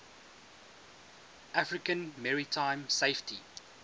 african maritime safety